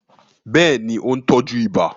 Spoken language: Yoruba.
Bẹ́ẹ̀ ni, ó ń tọ́jú ibà